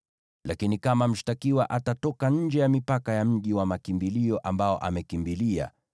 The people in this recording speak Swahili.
“ ‘Lakini kama mshtakiwa atatoka nje ya mipaka ya mji wa makimbilio ambao amekimbilia,